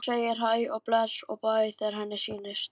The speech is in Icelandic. Hún segir hæ og bless og bæ þegar henni sýnist!